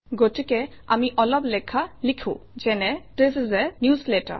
গতিকে আমি অলপ লেখা লিখোঁ যেনে - থিচ ইচ a newsletter